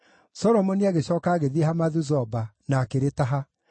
Solomoni agĩcooka agĩthiĩ Hamathu-Zoba na akĩrĩtaha.